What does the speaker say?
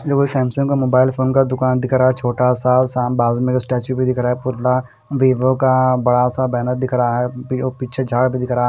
Samsung का mobile phone का दुकान दिखा छोटा सा शाम बाद में स्टैचू भी दिख रहा है पुतला वीवो का बड़ा सा बैनर दिख रहा है वो पिछे झाड़ भी दिख रहा--